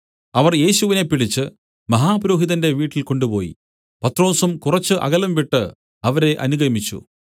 അവർ യേശുവിനെ പിടിച്ച് മഹാപുരോഹിതന്റെ വീട്ടിൽ കൊണ്ടുപോയി പത്രൊസും കുറച്ച് അകലം വിട്ടു അവരെ അനുഗമിച്ചു